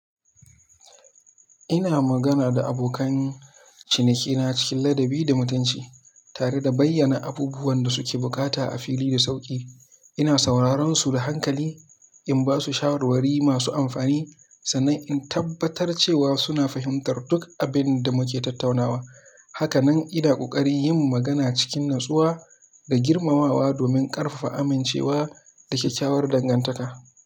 Ina magana da abokan cinikina cikin ladabi da mutunci, tare da bayyana abubuwan da suke bukata a fili da sauƙi. Ina sauraron su da hankali, in ba su shawarwari masu amfani, sannan in tabbatar cewa suna fahimtar duk abin da muke tattaunawa. Haka nan ina ƙoƙarin yin magana cikin natsuwa da girmamawa domin ƙarfafa amincewa da kyakkyawar dangantaka.